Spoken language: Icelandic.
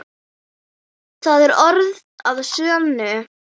Það er orð að sönnu.